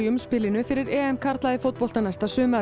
umspili fyrir karla í fótbolta næsta sumar